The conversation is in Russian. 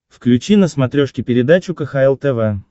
включи на смотрешке передачу кхл тв